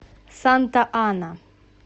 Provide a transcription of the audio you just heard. санта ана